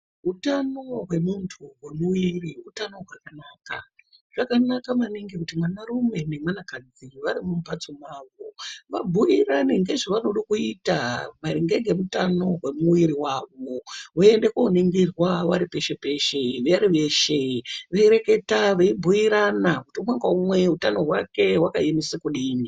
Utano hwemuntu hwemuiri utano hwakanaka. Zvakanaka maningi kuti vanarume nevanakadzi vari mumhatso mwavo vabhuirane maringe ngezvevanoda kuita maringe ngezveutano hwavo. Veinde kooningirwa peshe peshe vari veshe veibhuirana kuti umwena naumwe utano hwake hwakaemesa kudini.